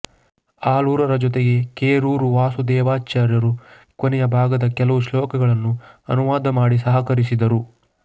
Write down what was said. ಆಲೂರರ ಜೊತೆಗೆ ಕೆರೂರು ವಾಸುದೇವಾಚಾರ್ಯರು ಕೊನೆಯ ಭಾಗದ ಕೆಲವು ಶ್ಲೋಕಗಳನ್ನು ಅನುವಾದ ಮಾಡಿ ಸಹಕರಿಸಿದರು